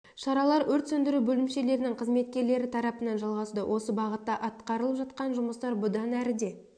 шаралар өрт сөндіру бөлімшелерінің қызметкерлері тарапынан жалғасуда осы бағытта атқарылып жатқан жұмыстар бұдан әрі де